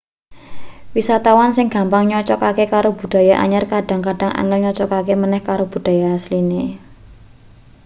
wisatawan sing gampang nyocogake karo budaya anyar kadhang-kadhang angel nyocogake maneh karo budaya asline